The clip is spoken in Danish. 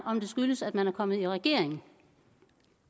om det skyldes at man er kommet i regering